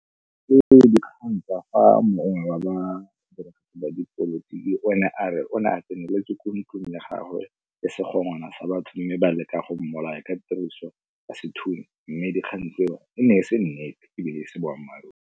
Ke dikgang tsa fa mongwe wa ba ba dipolotiki o ne a re o ne a tseneletswe ko ntlong ya gagwe le sa batho mme ba leka go mmolaya ka tiriso ya sethunya mme dikgang tseo e ne e se nnete ebile e se boammaaruri.